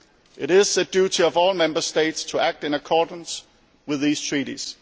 It is the duty of all Member States to act in accordance with these Treaties.